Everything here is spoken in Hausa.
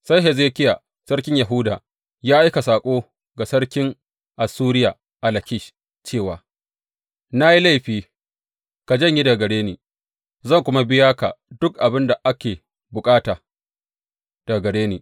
Sai Hezekiya sarkin Yahuda ya aika saƙo ga sarkin Assuriya a Lakish cewa, Na yi laifi, ka janye daga gare ni, zan kuma biya ka duk abin da ake bukata daga gare ni.